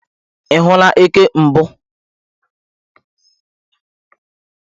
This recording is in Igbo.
Ị hụla eke mbụ?